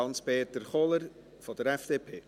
Hans-Peter Kohler von der FDP.